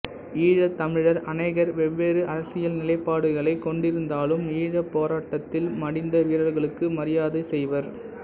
ஈழத் தமிழர் அனேகர் வெவ்வேறு அரசியல் நிலைப்பாடுகளைக் கொண்டிருந்தாலும் ஈழப் போராட்டத்தில் மடிந்த வீரர்களுக்கு மரியாதை செய்வர்